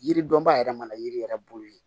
Yiri dɔnbaa yɛrɛ mana yiri yɛrɛ bolo ye